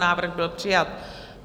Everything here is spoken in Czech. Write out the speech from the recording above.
Návrh byl přijat.